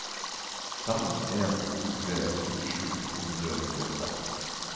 fem en to tre syttisju to hundre og nittiåtte